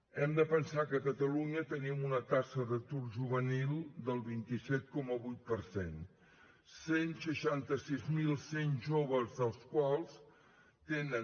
hem de pensar que a catalunya tenim una taxa d’atur juvenil del vint set coma vuit per cent cent i seixanta sis mil cent joves dels quals tenen